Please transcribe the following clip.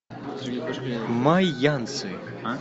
майянцы